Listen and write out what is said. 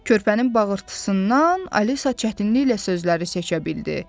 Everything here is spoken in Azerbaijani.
Körpənin bağırtısından Alisa çətinliklə sözləri seçə bildi.